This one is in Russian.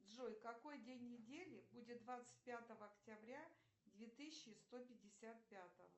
джой какой день недели будет двадцать пятого октября две тысячи сто пятьдесят пятого